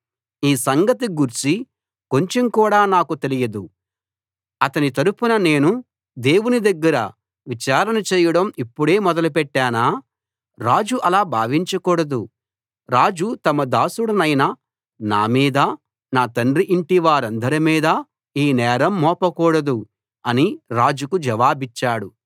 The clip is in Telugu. ఈ సంగతి గూర్చి కొంచెం కూడా నాకు తెలియదు అతని తరపున నేను దేవుని దగ్గర విచారణ చేయడం ఇప్పుడే మొదలుపెట్టానా రాజు అలా భావించకూడదు రాజు తమ దాసుడనైన నా మీదా నా తండ్రి ఇంటి వారందరిమీదా ఈ నేరం మోపకూడదు అని రాజుకు జవాబిచ్చాడు